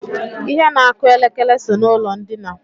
Ihe na-akụ elekere so n'ụlọ ndina